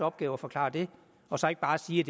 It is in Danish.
opgave at forklare det og så ikke bare at sige